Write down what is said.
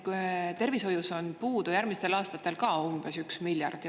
Tervishoius on ka järgmistel aastatel puudu umbes 1 miljard.